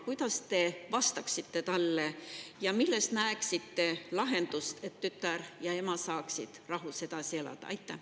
Kuidas te vastaksite talle ja milles näeksite lahendust, et tütar ja ema saaksid rahus edasi elada?